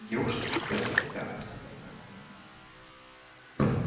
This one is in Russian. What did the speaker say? девушки сидят у себя все в одной комнате